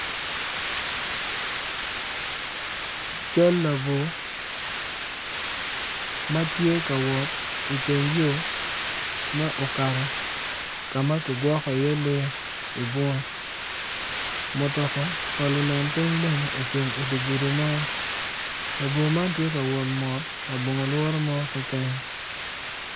Cal labwor ma tye ka wot i teng yo ma okato ka ma kigwoko iye lee i bunga mutoka ma lunen piny tye labwo man tye ka wot labongo lworo mo keken.